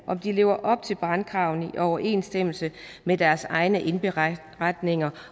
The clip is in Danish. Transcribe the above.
lever op til brandkravene i overensstemmelse med deres egne indberetninger